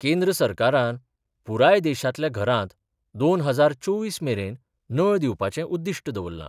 केंद्र सरकारान पूराय देशातल्या घरांत दोन हजार चोवीस मेरेन नळ दिवपाचे उद्दिष्ट दवरला.